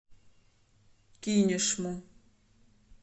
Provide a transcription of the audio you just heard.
кинешму